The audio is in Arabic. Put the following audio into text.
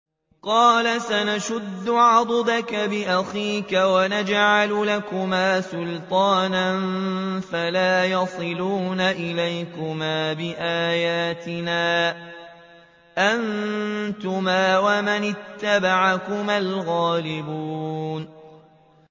قَالَ سَنَشُدُّ عَضُدَكَ بِأَخِيكَ وَنَجْعَلُ لَكُمَا سُلْطَانًا فَلَا يَصِلُونَ إِلَيْكُمَا ۚ بِآيَاتِنَا أَنتُمَا وَمَنِ اتَّبَعَكُمَا الْغَالِبُونَ